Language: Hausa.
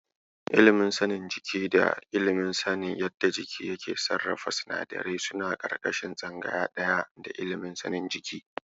Ilimin sanin jiki da ilimin sanin yadda jiki yake sarrafa sinadarai suna ƙarƙashin tsangaya ɗaya da ilimin sanin jiki.